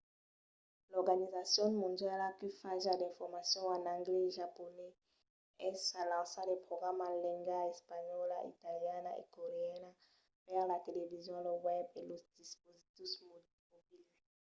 l’organizacion mondiala que fa ja d'informacion en anglés e japonés es a lançar de programas en lengas espanhòla italiana e coreana per la television lo web e los dispositius mobils